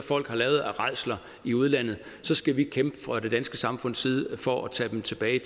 folk har lavet af rædsler i udlandet skal vi fra det danske samfunds side kæmpe for at tage dem tilbage